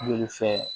Joli fɛn